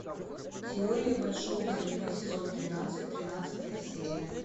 теория большого взрыва сезон тринадцать тринадцатая серия